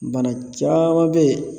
Bana caman bɛ yen